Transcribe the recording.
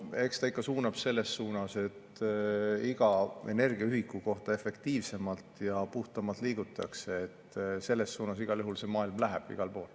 No eks ta ikka suunab selles suunas, et iga energiaühiku kohta efektiivsemalt ja puhtamalt liigutakse, selles suunas igal juhul see maailm läheb igal pool.